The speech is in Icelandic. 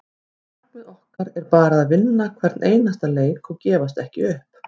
Markmið okkar er bara að vinna hvern einasta leik og gefast ekki upp.